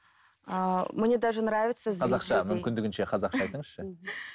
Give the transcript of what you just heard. қазақша мүмкіндігінше қазақша айтыңызшы